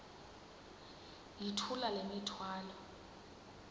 yithula le mithwalo